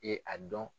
E a dɔn